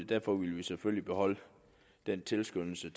derfor vil vi selvfølgelig beholde den tilskyndelse